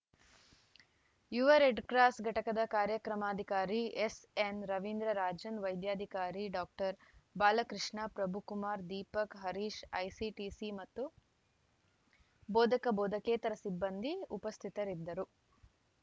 ಯುವ ರೆಡ್‌ಕ್ರಾಸ್‌ ಘಟಕದ ಕಾರ್ಯಕ್ರಮಾಧಿಕಾರಿ ಎಸ್‌ಎನ್‌ ರವೀಂದ್ರ ರಾಜನ್‌ ವೈದ್ಯಾಧಿಕಾರಿ ಡಾಕ್ಟರ್ ಬಾಲಕೃಷ್ಣ ಪ್ರಭುಕುಮಾರ್‌ ದೀಪಕ್‌ ಹರೀಶ್‌ ಐಸಿಟಿಸಿ ಮತ್ತು ಭೋದಕ ಬೋಧಕೇತರ ಸಿಬ್ಬಂದಿ ಉಪಸ್ಥಿತರಿದ್ದರು